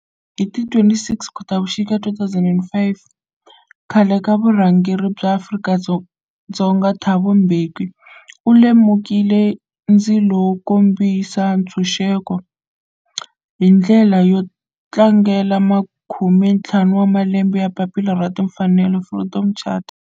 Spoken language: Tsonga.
Hi ti 26 Khotavuxika 2005 khale ka murhangeri wa Afrika-Dzonga Thabo Mbeki u lumekile ndzilo wo kombisa ntshuxeko, hi ndlela yo tlangela makume ntlhanu wa malembe ya papila ra timfanelo, Freedom Charter.